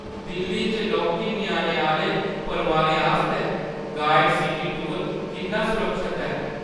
दिल्ली च लौह्के ञ्याणें आह्‌ले परोआरें आस्तै गाइडड सिटी टूर किन्ना सुरक्खत ऐ?